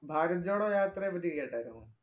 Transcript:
ഭാരത് ജോഡോ യാത്രയെ പറ്റി കേട്ടാരുന്നോ?